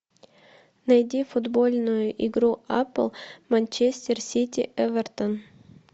найди футбольную игру апл манчестер сити эвертон